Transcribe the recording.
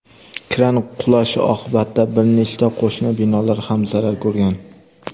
kran qulashi oqibatida bir nechta qo‘shni binolar ham zarar ko‘rgan.